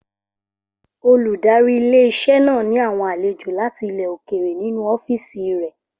Olùdarí ilé-iṣẹ́ náà ní àwọn àlejò láti ilẹ̀ òkèrè nínu ọ́fìsì rẹ̀